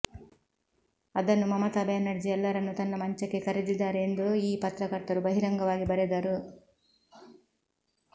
ಅದನ್ನು ಮಮತಾ ಬ್ಯಾನರ್ಜಿ ಎಲ್ಲರನ್ನೂ ತನ್ನ ಮಂಚಕ್ಕೆ ಕರೆದಿದ್ದಾರೆ ಎಂದು ಈ ಪತ್ರಕರ್ತರು ಬಹಿರಂಗವಾಗಿ ಬರೆದರು